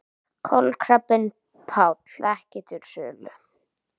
Kolkrabbinn Páll ekki til sölu